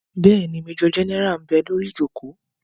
Bẹ́ẹ̀ni, majọ gẹ́nẹ́rà ḿ bẹ lórí ìjòkó